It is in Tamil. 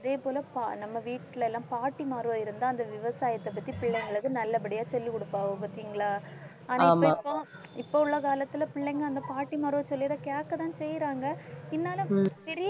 அதே போல பா~ நம்ம வீட்டில எல்லாம் பாட்டிமாரோ இருந்தா அந்த விவசாயத்தைப்பத்தி பிள்ளைங்களுக்கு நல்லபடியா சொல்லிக் கொடுப்பாங்க பார்த்தீங்களா ஆனா இப்ப இப்ப இப்ப உள்ள காலத்துல பிள்ளைங்க அந்தப் பாட்டிமாரோ சொல்லுறதை கேட்கத்தான் செய்யறாங்க இருந்தாலும் பெரிய